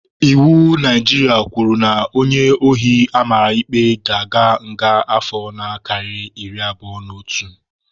Iwu Naijiria kwuru na onye ohi amara ikpe ga-aga nga afọ na-akarịghị iri abụo n'otu.